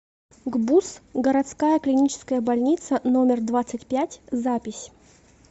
гбуз городская клиническая больница номер двадцать пять запись